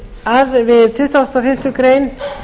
við tuttugustu og fimmtu grein